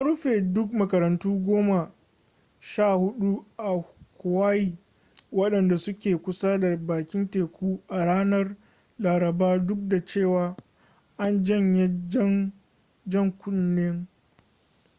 an rufe duk makarantu goma sha hudu a huawaii wadanda suke kusa da bakin teku a ranar laraba duk da cewa an janye jan kunnen